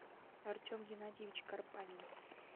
артем геннадьевич карпанин